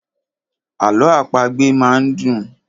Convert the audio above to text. Àlọ àpagbè máa ń dùn.